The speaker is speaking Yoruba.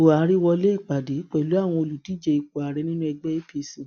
buhari wọlé ìpàdé pẹlú àwọn olùdíje ipò ààrẹ nínú ẹgbẹ apc